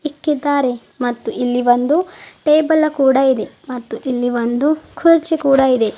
ಇಕ್ಕಿದ್ದಾರೆ ಮತ್ತು ಇಲ್ಲಿ ಒಂದು ಟೇಬಲ್ಲ ಕೂಡ ಇದೆ ಮತ್ತು ಇಲ್ಲಿ ಒಂದು ಕುರ್ಚಿ ಕೂಡ ಇದೆ.